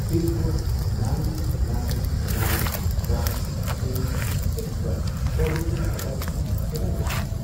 pin code nine nine nine one eight ꯁꯤꯛꯁꯇ Covishield vaccine ꯀꯗꯥꯏꯗ ꯐꯪꯒꯦ